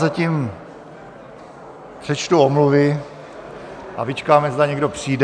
Zatím přečtu omluvy a vyčkáme, zda někdo přijde.